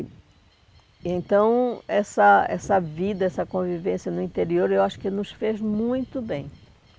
E... Então, essa essa vida, essa convivência no interior, eu acho que nos fez muito bem.